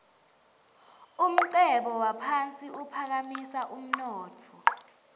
umcebo waphasi uphakamisa umnotfo